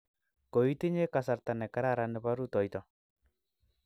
koitinye kasarta ne kararan nebo rutoito